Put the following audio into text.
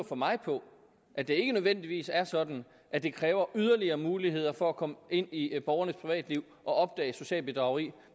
for mig på at det ikke nødvendigvis er sådan at det kræver yderligere muligheder for at komme ind i borgernes privatliv og opdage socialt bedrageri